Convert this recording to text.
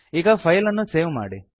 ಈಗ ಫೈಲ್ ಅನ್ನು ಸೇವ್ ಮಾಡಿ